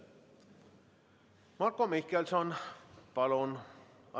Marko Mihkelson, palun!